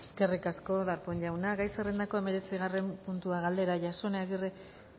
eskerik asko darpón jauna gai zerrendako hemeretzigarren puntua galdera jasone agirre